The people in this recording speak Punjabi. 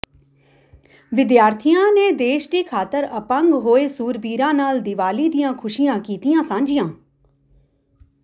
ਵਿਦਿਆਰਥੀਆਂ ਨੇ ਦੇਸ਼ ਦੀ ਖ਼ਾਤਰ ਅਪੰਗ ਹੋਏ ਸੂਰਬੀਰਾਂ ਨਾਲ ਦੀਵਾਲੀ ਦੀਆਂ ਖ਼ੁਸ਼ੀਆਂ ਕੀਤੀਆਂ ਸਾਂਝੀਆਂ